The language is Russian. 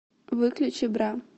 выключи бра